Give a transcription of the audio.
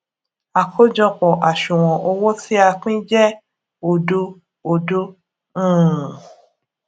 àkójọpò àṣùwòn owó tí a pín jé òdo òdo um